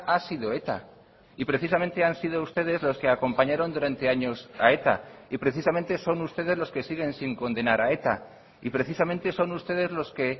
ha sido eta y precisamente han sido ustedes los que acompañaron durante años a eta y precisamente son ustedes los que siguen sin condenar a eta y precisamente son ustedes los que